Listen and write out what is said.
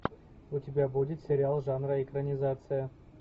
у тебя будет сериал жанра экранизация